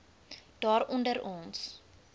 daar onder ons